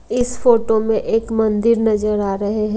इस फोटो में एक मंदिर नजर आ रहे हैं।